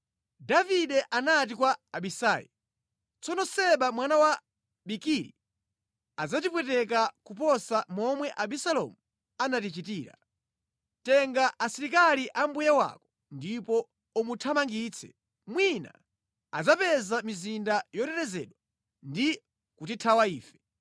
Davide anati kwa Abisai, “Tsono Seba mwana wa Bikiri adzatipweteka kuposa momwe Abisalomu anatichitira. Tenga asilikali a mbuye wako ndipo umuthamangitse, mwina adzapeza mizinda yotetezedwa ndi kutithawa ife.”